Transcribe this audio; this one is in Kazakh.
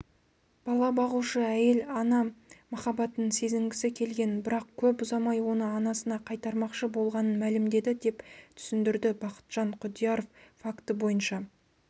бала бағушы әйел ана махаббатын сезінгісі келгенін бірақ көп ұзамай оны анасына қайтармақшы болғанын мәлімдеді деп түсіндірді бақытжан құдияров факті бойынша